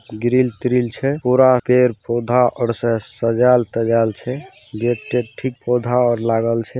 Grill ट्रिल छै पुरा पेड़-पौधा आर से सजावल तजाएल छै। गेट तेट ठीक पौधा आर लागल छै।